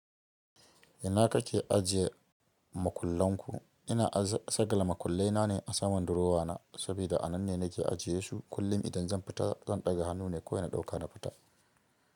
Ina kake ajiye makullan ku? Ina saqala makullai na ne a saman durowa na, sabida a nan ne nake ajiye su. Kullum idan zan fita zan ɗaga hannu ne kawai na ɗauka na fita.